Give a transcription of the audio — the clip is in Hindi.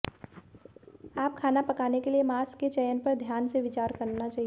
आप खाना पकाने के लिए मांस के चयन पर ध्यान से विचार करना चाहिए